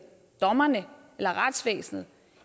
dommerne eller retsvæsenet